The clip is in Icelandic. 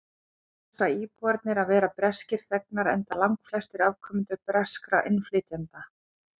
þar kjósa íbúarnir að vera breskir þegnar enda langflestir afkomendur breskra innflytjenda